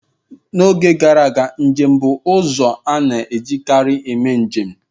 N'oge gara aga, njem bụ ụzọ a na-ejikarị eme njem